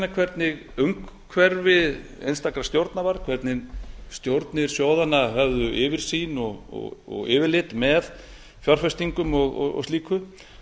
verið að gagnrýna hvernig umhverfi einstakra stjórna var hvernig stjórnir sjóðanna höfðu yfirsýn og yfirlit með fjárfestingum og slíku